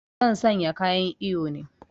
Zan sanya kayan iyo ne